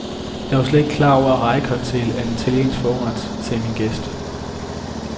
Jeg var slet ikke klar over, at rejecocktail er en italiensk forret, sagde min gæst.